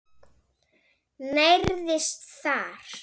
Nærðist þar.